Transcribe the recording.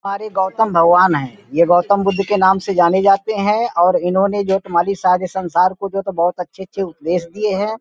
और ये गौतम भगवान हैं| ये गौतम बुद्ध के नाम से जाने जाते हैं और इन्होंने सारे संसार को बहोत अच्छे-अच्छे उपदेश दिए हैं।